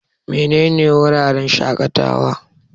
Menene wuraren shaƙatawa?